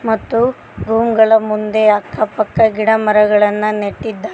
ಮತ್ತು ರೂಂ ಗಳ ಮುಂದೆ ಅಕ್ಕ ಪಕ್ಕ ಗಿಡಮರಗಳನ್ನು ನೆಟ್ಟಿದ್ದಾರೆ.